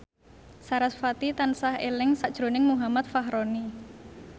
sarasvati tansah eling sakjroning Muhammad Fachroni